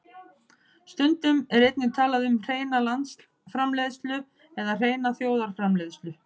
Stundum er einnig talað um hreina landsframleiðslu eða hreina þjóðarframleiðslu.